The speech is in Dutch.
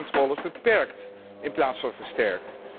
Hierdoor worden controles beperkt in plaats van versterkt.